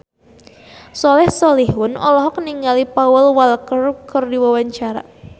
Soleh Solihun olohok ningali Paul Walker keur diwawancara